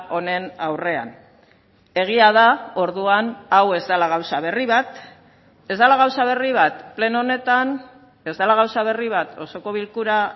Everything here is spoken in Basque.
honen aurrean egia da orduan hau ez dela gauza berri bat ez dela gauza berri bat pleno honetan ez dela gauza berri bat osoko bilkura